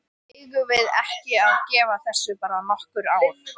Eigum við ekki að gefa þessu bara nokkur ár?